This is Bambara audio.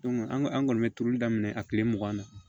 an ka an kɔni bɛ turuli daminɛ a tile mugan na